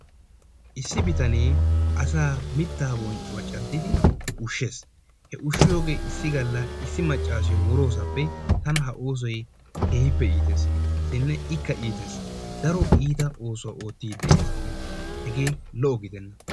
Issi bitanee asaa mittaa bonccuwaa caaddidi ushshees. He ushshiyoogee issi galla issi maccassiyoo woroosappe tana ha oosoy keehippe iiteessinne ikka itees. Daro iita oosuwaa oottidi dees. Hegee lo"o gidenna.